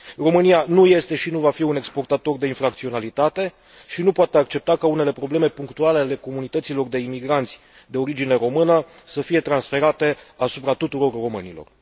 România nu este și nu va fi un exportator de infracționalitate și nu poate accepta ca unele probleme punctuale ale comunităților de imigranți de origine română să fie transferate asupra tuturor românilor.